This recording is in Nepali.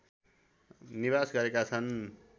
निवास गरेका छन्